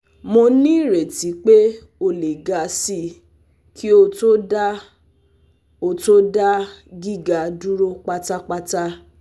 Mo nireti pe o le ga si ki o to da o to da giga duro patapata